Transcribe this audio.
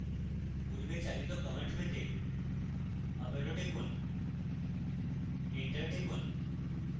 পূর্বে চালিত command পেতে up arrow টিপুন এন্টার টিপুন